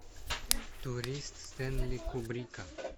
турист стэнли кубрика